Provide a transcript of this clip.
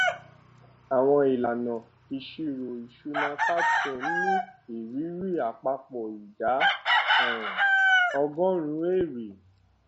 àwọn ìlànà ìṣirò ìṣúná capstone ní ìrírí àpapọ ìdá um ọgórùnún èrè